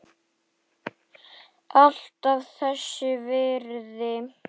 Alltaf þess virði.